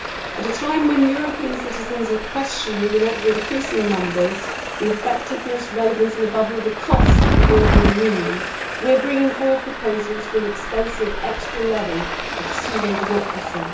At a time when European citizens are questioning in ever increasing numbers the effectiveness, relevance and, above all, the cost of the European Union, we are bringing forward proposals for an expensive extra level of pseudo democracy.